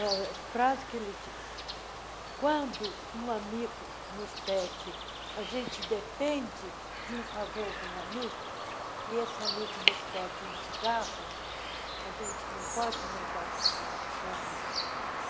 A frase que ele disse, quando um amigo nos pede, a gente depende de um favor de um amigo e esse amigo nos pede um cigarro, a gente não pode negar o cigarro para o amigo.